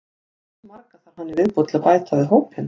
Hversu marga þarf hann í viðbót til að bæta við hópinn?